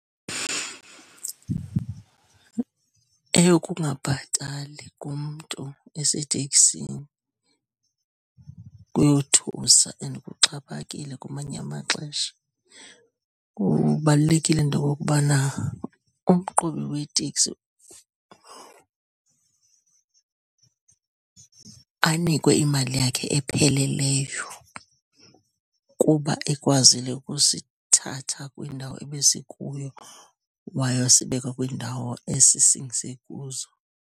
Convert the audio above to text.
Eyokungabhatali komntu eseteksini kuyothusa and kuxhaphakile kumanye amaxesha. Kubalulekile into okokubana umqhubi weteksi anikwe imali yakhe epheleleyo kuba ekwazile ukusithatha kwindawo ebesikuyo wayosibeka kwiindawo esisingise kuzo.